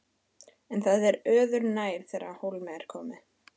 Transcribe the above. En það er öðru nær þegar á hólminn er komið.